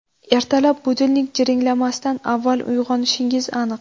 Ertalab budilnik jiringlamasdan avval uyg‘onishingiz aniq.